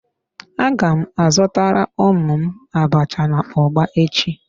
A gam azutara ụmụ m abacha na ugba echi.